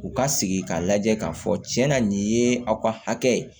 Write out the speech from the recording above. U ka sigi k'a lajɛ k'a fɔ cɛn na nin ye aw ka hakɛ ye